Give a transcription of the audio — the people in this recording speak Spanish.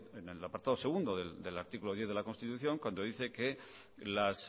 en el apartado segundo del artículo diez de la constitución cuando dice que las